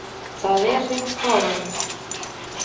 Það er hreint fáránlegt